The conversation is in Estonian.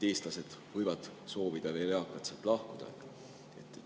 Eestlased võivad soovida veel, eakad eestlased, sealt lahkuda.